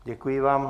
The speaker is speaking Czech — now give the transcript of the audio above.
Děkuji vám.